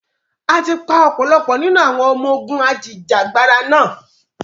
Áà tí pa ọ̀pọ̀lọpọ̀ nínú àwọn ọmọ ogún Ajìjà gbara náà.